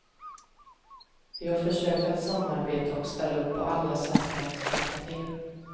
Vi har försökt att samarbeta och ställa upp på alla sätt för att hjälpa till.